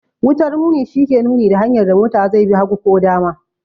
Wutar nuni shi ke nuni da hanyar da mota zai bi, hagu ko dama.